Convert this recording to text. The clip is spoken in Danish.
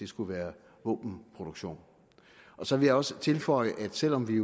skulle være våbenproduktion så vil jeg også tilføje at selv om vi